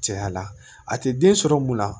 Cɛya la a tɛ den sɔrɔ mun na